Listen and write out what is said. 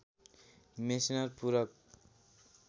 Meissner पुरक